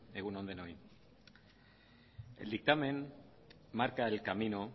egun on denoi el dictamen marca el camino